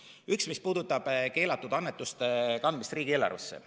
Üks on see, mis puudutab keelatud annetuste kandmist riigieelarvesse.